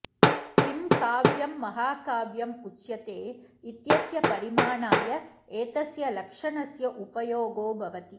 किं काव्यं महाकाव्यम् उच्यते इत्यस्य परिमाणाय एतस्य लक्षणस्य उपयोगो भवति